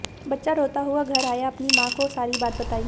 बच्चा रोता हुआ घर आया अपनी मां को सारी बात बताई